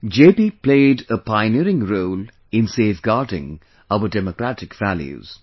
JP played a pioneering role in safeguarding our Democratic values